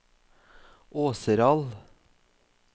Åseral